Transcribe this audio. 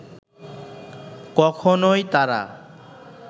কখনই তারা